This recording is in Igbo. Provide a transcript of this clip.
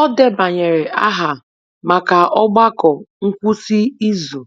O debanyere aha maka ogbako ngwụsị izu